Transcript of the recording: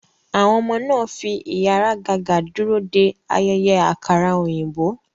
Àwọn ọmọ náà ń fi ìháragàgà dúró de ayẹyẹ àkàrà òyìnbó.